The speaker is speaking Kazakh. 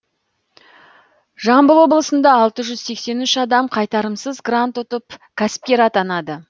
жамбыл облысында алты жүз сексен үш адам қайтарымсыз грант ұтып кәсіпкер атанды